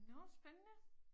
Nåh spændende